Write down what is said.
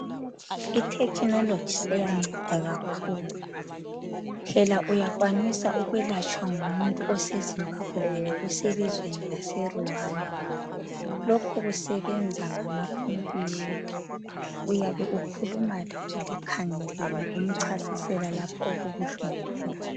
Ithekinoloji seyanceda kakhulu, phela uyakwanisa ukulatshwa ngumuntu oseZimbabwe wena uselizweni laseRwanda ,lokhu kusebenza ngacomputa ,uyabe ukhuluma laye likhangelene umchasisela lapho okubuhlungu khona.